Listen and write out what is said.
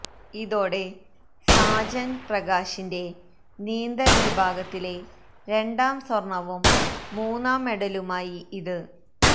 ഇതോടെ സാജന് പ്രകാശിന്റെ നീന്തല് വിഭാഗത്തിലെ രണ്ടാം സ്വര്ണവും മൂന്നാം മെഡലുമായി ഇത്